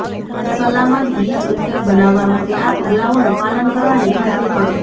સલામત બ્લીચ ઉકેલ બનાવવા માટે આ પગલાંઓનું પાલન કરવાની ખાતરી કરો